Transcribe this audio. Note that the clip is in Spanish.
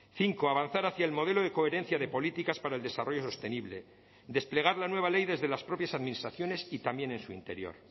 cinco avanzar hacia el modelo de coherencia de políticas para el desarrollo sostenible desplegar la nueva ley desde las propias administraciones y también en su interior